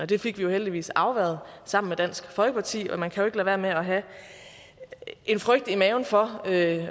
det fik vi heldigvis afværget sammen med dansk folkeparti og man kan jo være med at have en frygt i maven for at